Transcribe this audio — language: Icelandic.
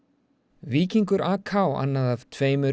víkingur annað af tveimur